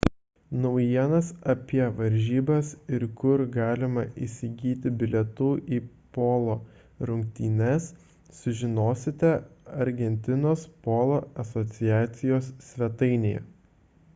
naujienas apie varžybas ir kur galima įsigyti bilietų į polo rungtynes sužinosite argentinos polo asociacijos svetainėje